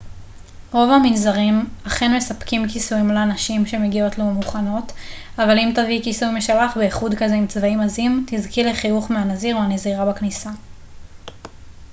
רוב המנזרים אכן מספקים כיסויים לנשים שמגיעות לא מוכנות אבל אם תביאי כיסוי משלך בייחוד כזה עם צבעים עזים תזכי לחיוך מהנזיר או הנזירה בכניסה